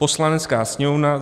Poslanecká sněmovna